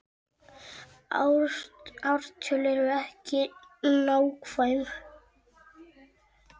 Ártöl eru ekki nákvæm.